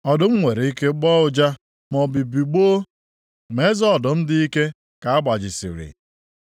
Ọdụm nwere ike gbọọ ụja, maọbụ bigbọọ, ma eze ọdụm dị ike ka a gbajisiri.